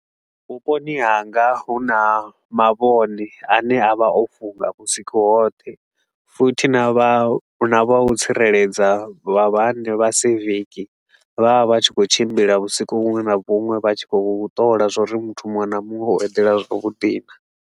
Vhuponi hanga huna mavhone a ne a vha o funga vhusiku hoṱhe, futhi na vha na vha u tsireledza vha vhane vha civic. Vha vha vha tshi khou tshimbila vhusiku vhuṅwe na vhuṅwe, vha tshi khou ṱola zwa uri muthu muṅwe na muṅwe o eḓela zwavhuḓi naa.